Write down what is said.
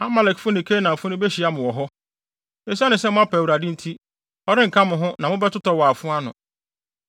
Amalekfo ne Kanaanfo no behyia mo wɔ hɔ wɔ hɔ? Esiane sɛ moapa Awurade nti, ɔrenka mo ho na mobɛtotɔ wɔ afoa no.”